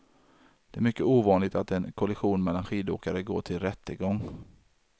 Det är mycket ovanligt att en kollision mellan skidåkare går till rättegång.